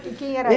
Quem era